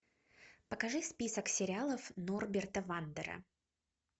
покажи список сериалов норберта вандера